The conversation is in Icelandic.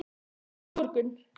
Komdu á morgun.